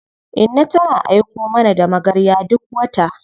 Inna tana aiko mana da magarya duk wata.